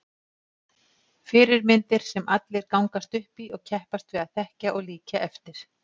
Fyrirmyndir sem allir gangast upp í og keppast við að þekkja og líkja eftir.